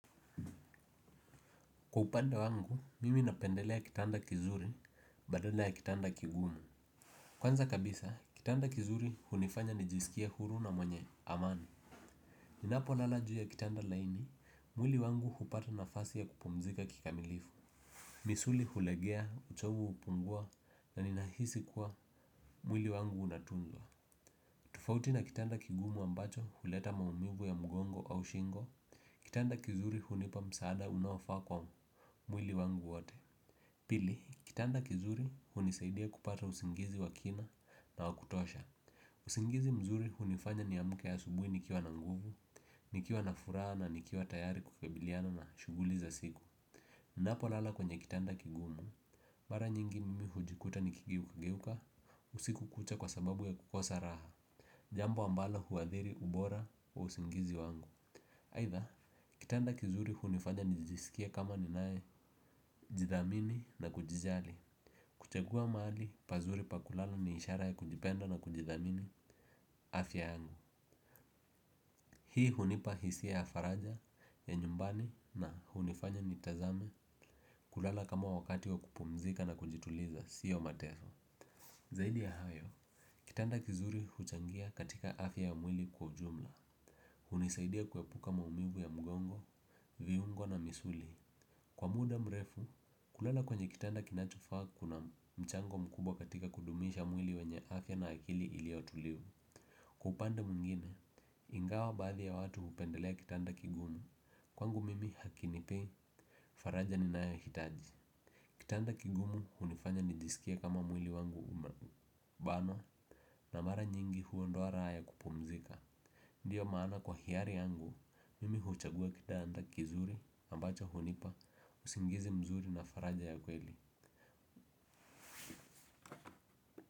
Kwa upande wangu mimi napendelea kitanda kizuri badala ya kitanda kigumu. Kwanza kabisa kitanda kizuri hunifanya nijiskie huru na mwenye amani. Ninapolala juu ya kitanda laini mwili wangu hupata nafasi ya kupumzika kikamilifu. Misuli hulegea uchovu hupungua na ninahisi kuwa mwili wangu unatundwa. Tofauti na kitanda kigumu ambacho huleta maumivu ya mgongo au shingo. Kitanda kizuri hunipa msaada unaofaa kwa mwili wangu wote. Pili, kitanda kizuri hunisaidia kupata usingizi wa kina na wa kutosha. Usingizi mzuri hunifanya niamke asubuhi nikiwa na nguvu, nikiwa na furaha na nikiwa tayari kukabiliana na shughuli za siku napolala kwenye kitanda kigumu mara nyingi mimi hujikuta nikigeuka geuka usiku kucha kwa sababu ya kukosa Raha. Jambo ambalo huathiri ubora wa usingizi wangu aidha, kitanda kizuri hunifanya nijisikie kama ninayejidhamini na kujijali. Kuchagua mahali, pazuri pa kulala ni ishara ya kujipenda na kujithamini afya yangu. Hii hunipa hisia ya faraja, ya nyumbani na hunifanya nitazame kulala kama wakati wa kupumzika na kujituliza, sio mateso. Zaidi ya hayo, kitanda kizuri huchangia katika afya ya mwili kwa ujumla. Hunisaidia kuepuka maumivu ya mgongo viungo na misuli. Kwa muda mrefu, kulala kwenye kitanda kinachofaa kuna mchango mkubwa katika kudumisha mwili wenye afya na akili iliyo tulivu. Kwa upande mwengine, ingawa baadhi ya watu hupendelea kitanda kigumu, kwangu mimi hakinipei faraja ninayohitaji. Kitanda kigumu hunifanya nijisikie kama mwili wangu umebanwa na mara nyingi huondoa raha ya kupumzika. Ndiyo maana kwa hiari yangu, mimi huchagua kitanda kizuri, ambacho hunipa, usingizi mzuri na faraja ya kweli.